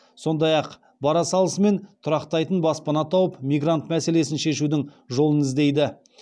сондай ақ бара салысымен тұрақтайтын баспана тауып мигрант мәселесін шешудің жолын іздейді